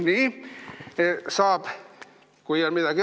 Siin on antiseptik.